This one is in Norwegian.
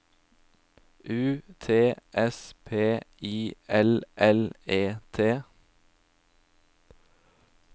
U T S P I L L E T